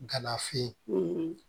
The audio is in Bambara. Ganafin